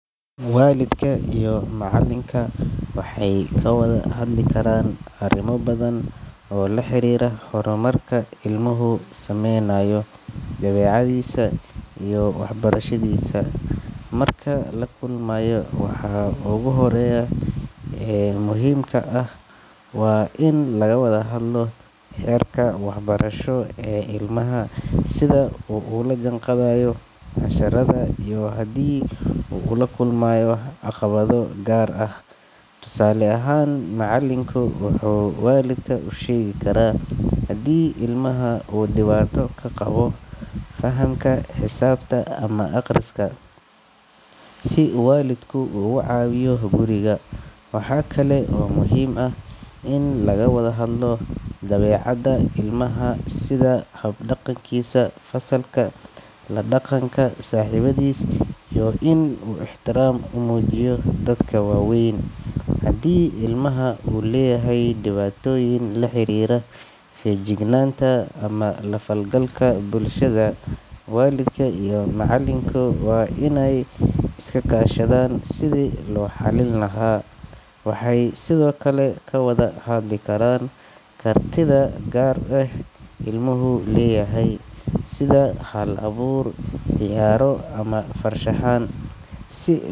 Waalidka iyo macallinku waxay ka wada hadli karaan arrimo badan oo la xiriira horumarka ilmuhu sameynayo, dabeecaddiisa, iyo waxbarashadiisa. Marka la kulmayo, waxa ugu horeeya ee muhiimka ah waa in laga wada hadlo heerka waxbarasho ee ilmaha, sida uu ula jaanqaadayo casharrada, iyo haddii uu la kulmayo caqabado gaar ah. Tusaale ahaan, macallinku wuxuu waalidka u sheegi karaa haddii ilmaha uu dhibaato ka qabo fahamka xisaabta ama akhriska, si waalidku uga caawiyo guriga. Waxa kale oo muhiim ah in laga wada hadlo dabeecadda ilmaha, sida habdhaqankiisa fasalka, la dhaqanka saaxiibadiis iyo in uu ixtiraam u muujiyo dadka waaweyn. Haddii ilmaha uu leeyahay dhibaatooyin la xiriira feejignaanta ama la falgalka bulshada, waalidka iyo macallinku waa inay iska kaashadaan sidii loo xalin lahaa. Waxay sidoo kale ka wada hadli karaan kartida gaar ah ee ilmuhu leeyahay, sida hal-abuur, ciyaaro ama farshaxan, si.